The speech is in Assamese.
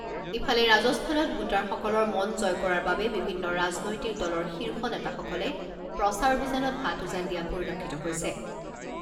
ইফালে, ৰাজস্থানত ভোটাৰসকলৰ মন জয় কৰাৰ বাবে বিভিন্ন ৰাজনৈতিক দলৰ শীৰ্ষ নেতাসকলে প্ৰচাৰ অভিযানত হাত উজান দিয়া পৰিলক্ষিত হৈছে।